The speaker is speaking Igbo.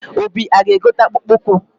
Obi aga-egote akpụkpọ ụkwụ?